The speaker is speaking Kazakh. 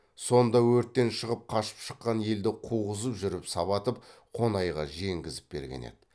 сонда өрттен шығып қашып шыққан елді қуғызып жүріп сабатып қонайға жеңгізіп берген еді